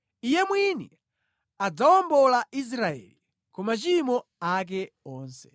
Iye mwini adzawombola Israeli ku machimo ake onse.